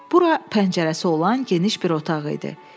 Bura pəncərəsi olan geniş bir otaq idi.